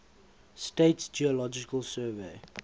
states geological survey